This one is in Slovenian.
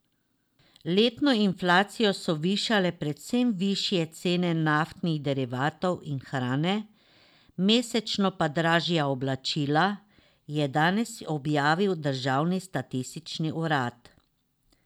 Letno inflacijo so višale predvsem višje cene naftnih derivatov in hrane, mesečno pa dražja oblačila, je danes objavil državni statistični urad.